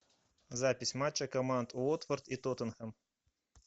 запись матча команд уотфорд и тоттенхэм